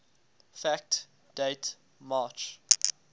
fact date march